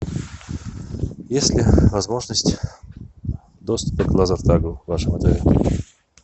есть ли возможность доступа к лазертагу в вашем отеле